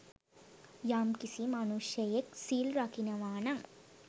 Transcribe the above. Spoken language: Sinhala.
යම්කිසි මනුෂ්‍යයෙක් සිල් රකිනවානම්